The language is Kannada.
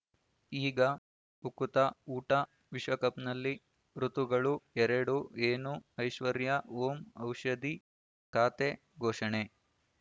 ಈಗ ಉಕುತ ಊಟ ವಿಶ್ವಕಪ್‌ನಲ್ಲಿ ಋತುಗಳು ಎರಡು ಏನು ಐಶ್ವರ್ಯಾ ಓಂ ಔಷಧಿ ಖಾತೆ ಘೋಷಣೆ